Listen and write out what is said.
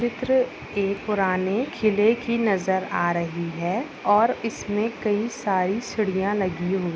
चित्र एक पुराने किले की नज़र आ रही है और इसमे कही सारी सिडिया लगी हुई--